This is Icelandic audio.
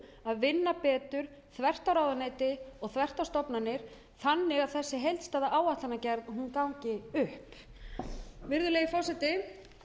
að vinna betur þvert á ráðuneyti og þvert á stofnanir þannig að þessi heildstæða áætlanagerð gangi upp virðulegi forseti